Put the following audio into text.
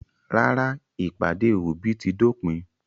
Rárá, ìpàdé òbí ti dópin.